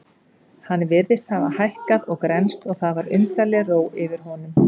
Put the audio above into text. Hann virtist hafa hækkað og grennst og það var undarleg ró yfir honum.